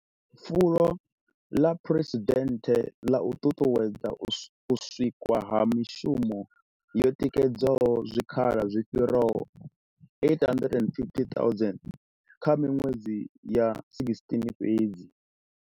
Fulo ḽa phresidennde ḽa u ṱuṱuwedza u sikwa ha mushumo ḽo tikedza zwikhala zwi fhiraho 850 000 kha miṅwedzi ya 16 fhedzi.